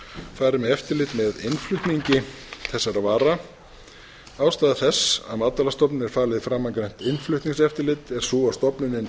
fari með eftirlit með innflutningi þessara vara ástæða þess að matvælastofnun er falið framangreint innflutningseftirlit er sú að stofnunin